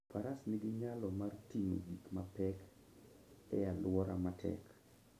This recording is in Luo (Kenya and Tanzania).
Faras nigi nyalo mar ting'o gik mapek e alwora matek.